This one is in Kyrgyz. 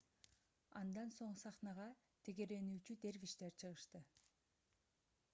андан соң сахнага тегеренүүчү дервиштер чыгышты